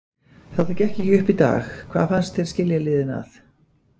Þetta gekk ekki upp í dag, hvað fannst þér skilja liðin að?